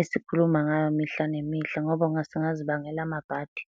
esikhuluma ngayo mihla nemihle ngoba singazibangela amabhadi.